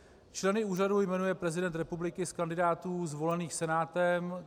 Členy úřadu jmenuje prezident republiky z kandidátů zvolených Senátem.